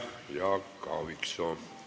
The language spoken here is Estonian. Aitäh, Jaak Aaviksoo!